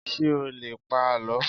ṣé o lè pa àlọ́?